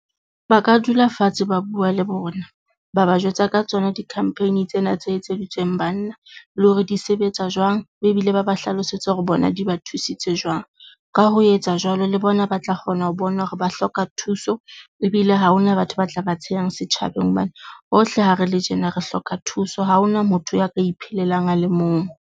Ba ka dula fatshe, ba bua le bona, ba ba jwetsa ka tsona di-campaign tsena tse etseditsweng banna le hore di sebetsa jwang be ebile ba ba hlalosetsa hore bona di ba thusitse jwang. Ka ho etsa jwalo le bona ba tla kgona ho bona hore ba hloka thuso, ebile ha hona batho ba tla ba tshehang setjhabeng hobane bohle ha re le tjena re hloka thuso, ha hona motho ya ka iphelelang a le mong.